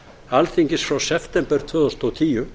alþingis frá september tvö þúsund og tíu